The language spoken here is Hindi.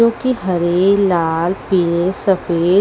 जो कि हरे लाल पीले सफेद--